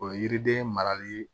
O yiriden marali